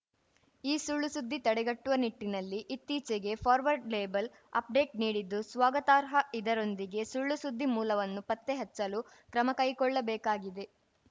ಈ ಸುಳ್ಳುಸುದ್ದಿ ತಡೆಗಟ್ಟುವ ನಿಟ್ಟಿನಲ್ಲಿ ಇತ್ತೀಚೆಗೆ ಫಾರ್ವರ್ಡ್‌ ಲೇಬಲ್ ಅಪ್ಡೇಟ್‌ ನೀಡಿದ್ದು ಸ್ವಾಗತಾರ್ಹ ಇದರೊಂದಿಗೆ ಸುಳ್ಳುಸುದ್ದಿ ಮೂಲವನ್ನು ಪತ್ತೆಹಚ್ಚಲು ಕ್ರಮಕೈಗೊಳ್ಳಬೇಕಾಗಿದೆ